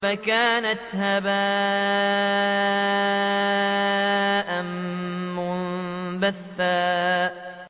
فَكَانَتْ هَبَاءً مُّنبَثًّا